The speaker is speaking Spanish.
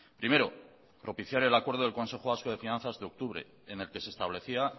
primero propiciar el acuerdo del consejo vasco de finanzas de octubre en el que se establecía